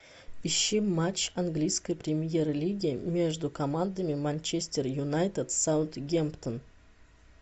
ищи матч английской премьер лиги между командами манчестер юнайтед саутгемптон